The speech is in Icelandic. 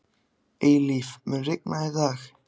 Eilíf, mun rigna í dag?